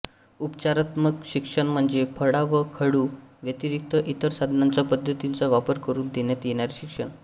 उपचारात्मक शिक्षण म्हणजे फळा व खडू व्यतिरिक्त इतर साधनांचा पद्धतींचा वापर करून देण्यात येणारे शिक्षण